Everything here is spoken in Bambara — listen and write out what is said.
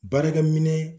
Baarakɛ minɛ